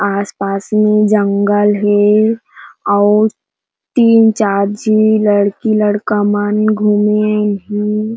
आस पास में जंगल हे अउ तीन चार झी लड़की लड़का मन घूमे अइन हे।